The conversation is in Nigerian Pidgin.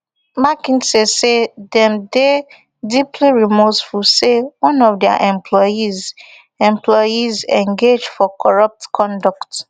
mckinsey say dem dey deeply remorseful say one of dia employees employees engage for corrupt conduct